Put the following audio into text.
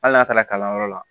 Hali n'a taara kalanyɔrɔ la